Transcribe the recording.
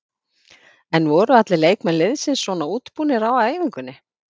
En voru allir leikmenn liðsins svona útbúnir á æfingunni?